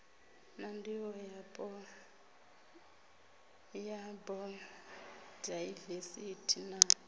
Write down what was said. na ndivhoyapo ya bayodaivesithi na